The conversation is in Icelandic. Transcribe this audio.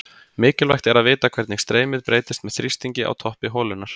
Mikilvægt er að vita hvernig streymið breytist með þrýstingi á toppi holunnar.